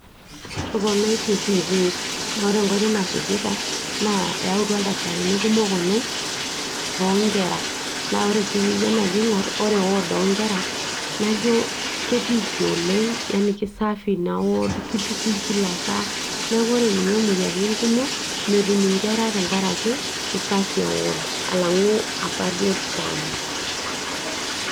etoponaitie piipi naa ore enkoitoi nasujita naa eyautua ildakitarini kumok oleng loonkera naa ore sii pijo naji aing'orr ore ward onkera najo ketiiki oleng najo kisafi ina ward kitukui kila saa neeku ore ninye imoyiaritin kumok metum inkera tenkarake usafi e ward alang'u apa duo kitambo.